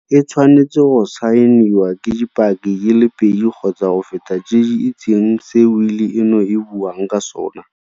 E tshwanetse go saeniwa ke dipaki di le pedi kgotsa go feta tse di itseng se wili eno e buang ka sona.